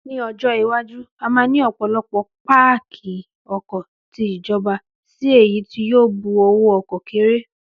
Ní ọjọ́ iwájú, a máa ní ọ̀pọ̀lọpọ̀ páàkì ọkọ̀ ti ìjọba si èyí tí yóò bu owó ọkọ̀ kéré